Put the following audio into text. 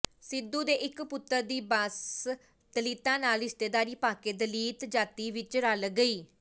ਸਿੱਧੂ ਦੇ ਇੱਕ ਪੁੱਤਰ ਦੀ ਬੰਸ ਦਲਿਤਾਂ ਨਾਲ ਰਿਸ਼ਤੇਦਾਰੀ ਪਾਕੇ ਦਲਿਤ ਜਾਤੀ ਵਿੱਚ ਰਲ ਗਈ